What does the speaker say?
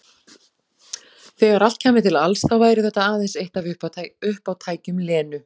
Þegar allt kæmi til alls þá væri þetta aðeins eitt af uppátækjum Lenu.